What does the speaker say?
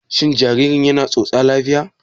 Shin jaririn yana tsotsa lafiya?